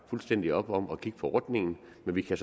fuldstændig op om at kigge på ordningen men vi kan